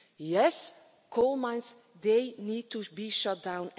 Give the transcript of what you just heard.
Yes, coal mines they need to be shut down.